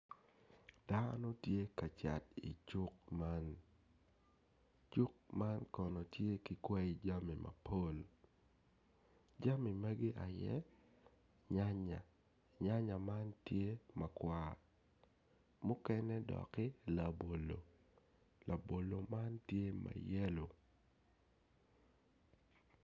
Dano tye ka cat icuk man cuk man kono tye ki kwai jami mapol jami magi aye nyanya nyanya man tye makwar mukene dokki labolo labolo man tye ma yelo.